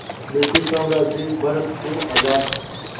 British साम्राज्य भारत को आज़ाद